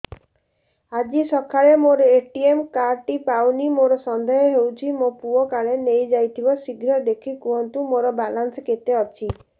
ଆଜି ସକାଳେ ମୋର ଏ.ଟି.ଏମ୍ କାର୍ଡ ଟି ପାଉନି ମୋର ସନ୍ଦେହ ହଉଚି ମୋ ପୁଅ କାଳେ ନେଇଯାଇଥିବ ଶୀଘ୍ର ଦେଖି କୁହନ୍ତୁ ମୋର ବାଲାନ୍ସ କେତେ ଅଛି